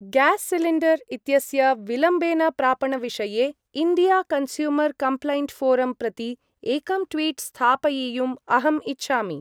Gas cylinder इत्यस्य विलम्बेन प्रापण-विषये इण्डिया-कन्स्यूमर्‌-कम्प्लैण्ट्‌-ऴोरं प्रति एकं ट्वीट् स्थापयियुम् अहम् इच्छामि।